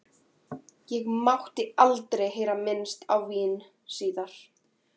Og mátti aldrei heyra minnst á vín síðan.